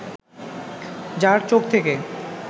যার চোখ থেকে